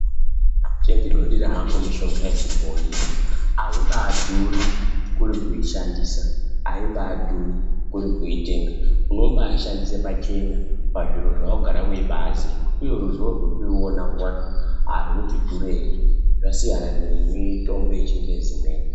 Chendinodira hangu mishonga yechibhoi aiba dhuri kuri kuishandisa, aiba dhuri kuri kuitenga, unobaashandisa pachena pazviro zvawagara weibaaziya uye ruzivo rwekuriona kwacho arwuti dhurei zvasiyana nemitombo yechingezi imweni .